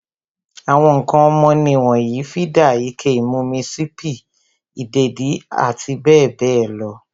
Àwọn ǹkan ọmọ nì wonyii, fídà, ike ìmumi, sípí, ìdèdí abbl.